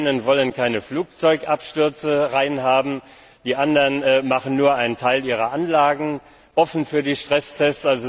Die einen wollen keine Flugzeugabstürze aufnehmen, die anderen öffnen nur einen Teil ihrer Anlagen für die Stresstests.